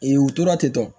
u tora ten